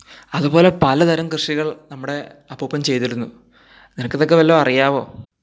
അതുപോലെ പലതരം കൃഷികൾ നമ്മുടെ അപ്പൂപ്പൻ ചെയ്തിരുന്നു അറിയാവോ